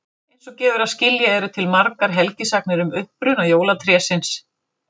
Eins og gefur að skilja eru til margar helgisagnir um uppruna jólatrésins.